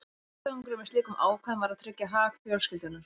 Tilgangurinn með slíkum ákvæðum var að tryggja hag fjölskyldunnar.